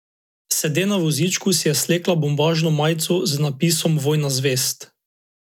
Sede na vozičku si je slekla bombažno majico z napisom Vojna zvezd.